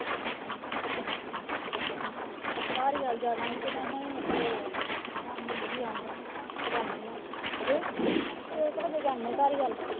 ਧਾਲੀਵਾਲ ਜਾਣਾ ਸੀ ਮੈਂ ਸ਼ਾਮੀ ਜੀ ਆਉ। ਜਾਣੀ ਆ। ਛੇ ਕੁ ਵਜੇ ਜਾਂਦੇ ਆ ਧਾਲੀਵਾਲ।